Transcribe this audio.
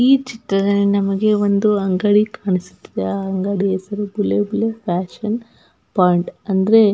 ಈ ಚಿತ್ರದಲ್ಲಿ ನಮಗೆ ಒಂದು ಅಂಗಡಿ ಕಾಣಿಸುತ್ತದೆ ಆ ಅಂಗಡಿಯ ಹೆಸರು ಬುಲೆಬುಲೆ ಫ್ಯಾಷನ್ ಪಾಯಿಂಟ್ ‌ ಅಂದ್ರೆ --